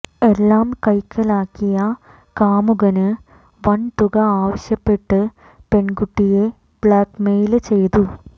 എല്ലാം കൈക്കലാക്കിയ കാമുകന് വന് തുക ആവശ്യപ്പെട്ട് പെണ്കുട്ടിയേ ബ്ലാക്മെയില് ചെയ്തു